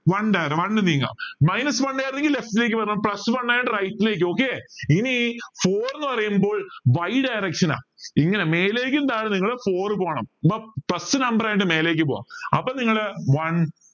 one നീങ്ങാം minus one left ലേക്ക് വരണം plus one ആയോണ്ട് right ലേക്ക് okay ഇനി four ന്ന് പറയുമ്പോൾ y direction ഇങ്ങനെ മേലേക്കും താഴെ നിങ്ങളെ four പോണം first number ആയോണ്ട് മേലേക്ക് പോകാം പ്പോ നിങ്ങളെ one